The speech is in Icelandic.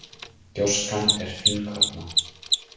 Gjóskan er fínkorna